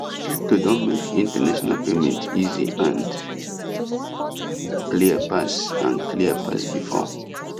crypto don make international payment easy and clear pass and clear pass before